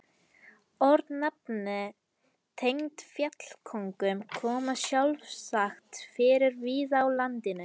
Örnefni tengd fjallkóngum koma sjálfsagt fyrir víða á landinu.